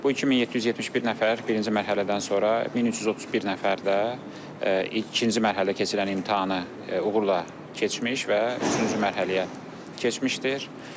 Bu 2771 nəfər birinci mərhələdən sonra 1331 nəfər də ikinci mərhələdə keçirilən imtahanı uğurla keçmiş və üçüncü mərhələyə keçmişdir.